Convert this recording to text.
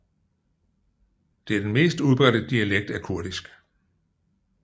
Det er den mest udbredte dialekt af kurdisk